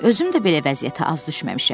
Özüm də belə vəziyyətə az düşməmişəm.